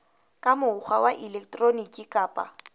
ka mokgwa wa elektroniki kapa